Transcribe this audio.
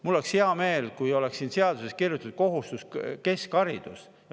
Mul oleks hea meel, kui oleks siin seaduses kirjas "kohustuslik keskharidus".